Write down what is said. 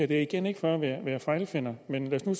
det er igen ikke for at være fejlfinder men lad os nu